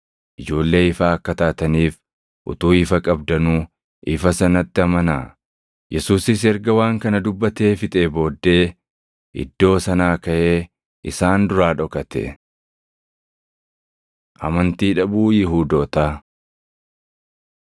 Ijoollee ifaa akka taataniif utuu ifa qabdanuu ifa sanatti amanaa.” Yesuusis erga waan kana dubbatee fixee booddee iddoo sanaa kaʼee isaan duraa dhokate. Amantii Dhabuu Yihuudootaa